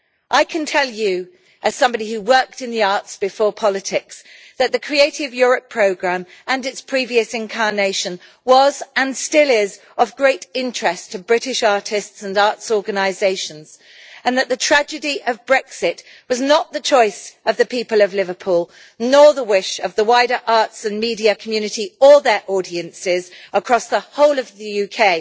I can tell you, as somebody who worked in the arts before politics, that the Creative Europe programme, including in its previous incarnation, has been and still is of great interest to British artists and arts organisations, and that the tragedy of Brexit was not the choice of the people of Liverpool nor the wish of the wider arts and media community or their audiences across the whole of the UK,